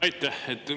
Aitäh!